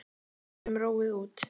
Við getum róið út.